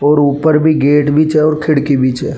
और ऊपर भी गेट भी छे और खिड़की भी छे।